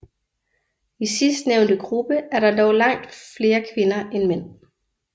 I sidstnævnte gruppe er der dog langt flere kvinder end mænd